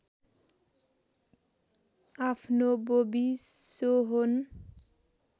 आफ्नो बोबी सोहोन